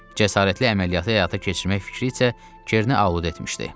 Cəsarətli əməliyyatı həyata keçirmək fikri isə Kerni ovutmuşdu.